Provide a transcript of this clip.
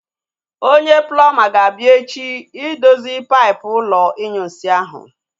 Onye plọmba ga-abịa echi idozi paipụ ụlọ inyunsi ahu